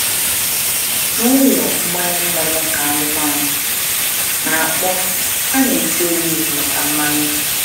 Na ụlọ mgbanye mmanụ nke anụmanụ na-akpọ, a na-eti oliv maka mmanụ.